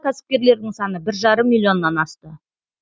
кәсіпкерлердің саны бір жарым миллионнан асты